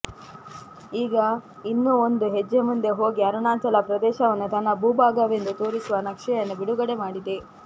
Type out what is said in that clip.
ಈಗ ಇನ್ನೂ ಒಂದು ಹೆಜ್ಜೆ ಮುಂದೆ ಹೋಗಿ ಅರುಣಾಚಲ ಪ್ರದೇಶವನ್ನು ತನ್ನ ಭೂಭಾಗವೆಂದು ತೋರಿಸುವ ನಕ್ಷೆಯನ್ನು ಬಿಡುಗಡೆ ಮಾಡಿದೆ